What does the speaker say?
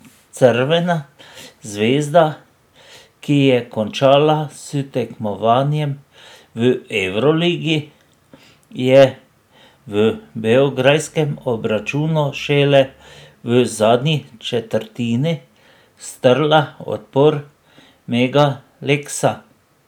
Crvena zvezda, ki je končala s tekmovanjem v evroligi, je v beograjskem obračunu šele v zadnji četrtini strla odpor Mega Leksa.